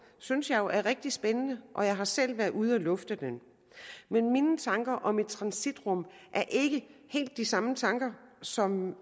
synes jeg jo er rigtig spændende og jeg har selv været ude at lufte den men mine tanker om et transitrum er ikke helt de samme tanker som